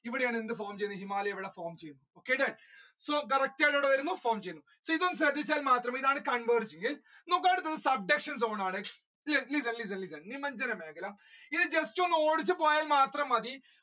ഇവിടെയാണ് എന്ത് form ചെയ്തത് ചെയ്തത് so correct ആയിട്ട് അവിടെ വരുന്നു form ചെയ്തു listen, listen, listen ഇത് just ഒന്ന് ഓടിച്ചു പോയാൽ മാത്രം മതി.